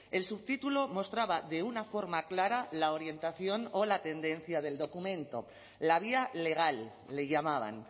el subtítulo mostraba de una forma clara la orientación o la tendencia del documento la vía legal le llamaban